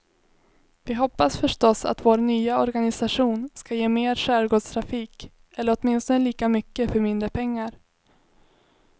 Vi hoppas förstås att vår nya organisation ska ge mer skärgårdstrafik eller åtminstone lika mycket för mindre pengar.